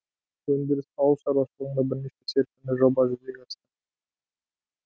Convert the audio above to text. өндіріс ауыл шаруашылығында бірнеше серпінді жоба жүзеге асты